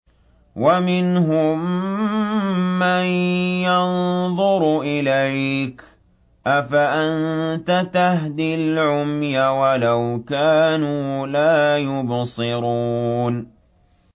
وَمِنْهُم مَّن يَنظُرُ إِلَيْكَ ۚ أَفَأَنتَ تَهْدِي الْعُمْيَ وَلَوْ كَانُوا لَا يُبْصِرُونَ